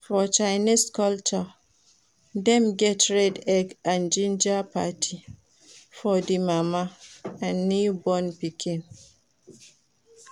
For chinese culture dem get red egg and ginger parti for di mama and newborn pikin